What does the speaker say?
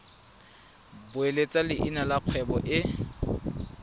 beeletsa leina la kgwebo e